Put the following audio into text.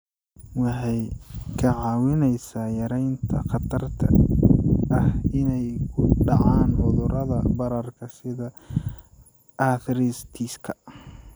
Waxay kaa caawinaysaa yaraynta khatarta ah inay ku dhacaan cudurrada bararka sida arthritis-ka.